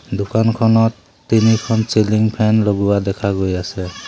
দোকানখনত তিনিখন ceiling fan লগোৱা দেখা গৈ আছে।